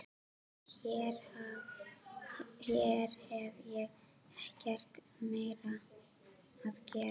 Hér hef ég ekkert meira að gera.